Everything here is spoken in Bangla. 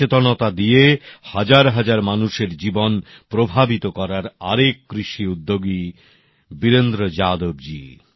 নিজের সচেতনতা দিয়ে হাজার হাজার মানুষের জীবন প্রভাবিত করার আরেক কৃষি উদ্যোগী বীরেন্দ্র যাদব জী